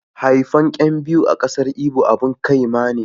haifan 'yan biyu a ƙasar ibo abun ƙyama ne